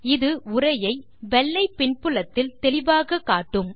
இது உரையை வெள்ளை பின்புலத்தில் தெளிவாகக் காட்டும்